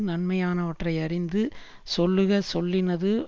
நன்மையானவற்றை யறிந்து சொல்லுக சொல்லினது